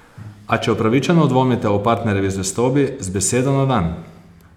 A če upravičeno dvomite o partnerjevi zvestobi, z besedo na dan!